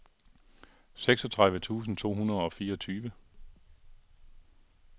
seksogtredive tusind to hundrede og fireogtyve